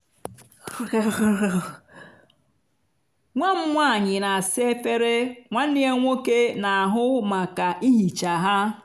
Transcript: nwa m nwanyị na-asa efere nwanne ya nwoke na-ahụ maka ihicha ha.